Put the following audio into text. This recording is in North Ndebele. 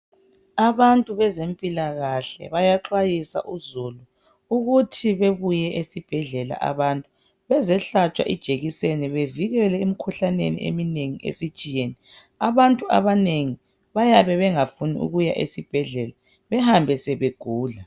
Abantu bezempilakahle bayaxwayisa uzulu ukuthi bebuye esibhedlela abantu bezehlatshwa ijekiseni bevikelwe emkhuhlaneni eminengi esitshiyene abantu abanengi bayabe bengafuni ukuya esibhedlela behambe sebegula